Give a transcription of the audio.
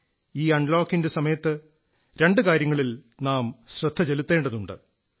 ഈ അൺലോക്കിന്റെ സമയത്ത് രണ്ടു കാര്യങ്ങളിൽ നാം ശ്രദ്ധ ചെലുത്തേണ്ടതുണ്ട്